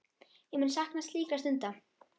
Ég mun sakna slíkra stunda.